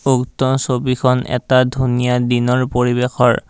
উক্ত ছবিখন এটা ধুনীয়া দিনৰ পৰিৱেশৰ।